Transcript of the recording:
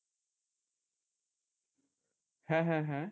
হ্যাঁ হ্যাঁ হ্যাঁ